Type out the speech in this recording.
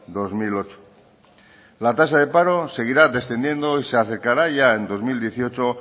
dos mil ocho la tasa de paro seguirá descendiendo y se acercará ya en dos mil dieciocho